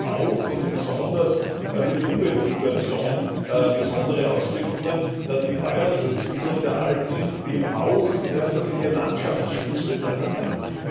Das hat aber auch und besonders auf die Umweltsituation besondere Auswirkungen, da die bäuerliche Besiedlung der Alpen eben auch in erster Linie Landschaftsschutz bedeutet hat.